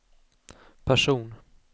person